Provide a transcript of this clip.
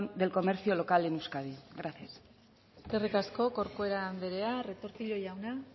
del comercio local en euskadi gracias eskerrik asko corcuera andrea retortillo jauna